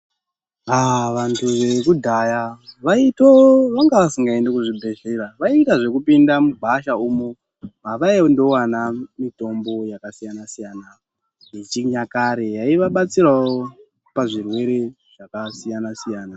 Aaaa vantu vekudhaya, vaitooo vanga vasingaendi kuchibhedhlera, vaiita zvekupinda mugwasha umo, mavaindowana mitombo yakasiyana-siyana yechinyakare ,yaivabatsirawo pazvirwere zvakasiyana-siyana.